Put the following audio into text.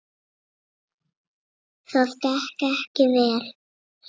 Það gekk ekki vel.